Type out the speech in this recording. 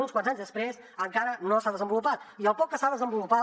uns quants anys després encara no s’ha desenvolupat i el poc que s’ha desenvolupat